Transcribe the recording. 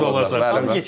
Həmişə-həmişə çıxılacaq.